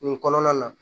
Nin kɔnɔna na